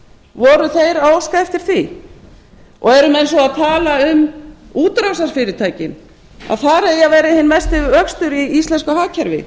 voru þeir að óska eftir því eru menn svo að tala um útrásarfyrirtækin að þar eigi að vera hinn mesti vöxtur í íslensku hagkerfi